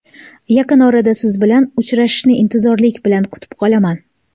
Yaqin orada Siz bilan uchrashishni intizorlik bilan kutib qolaman.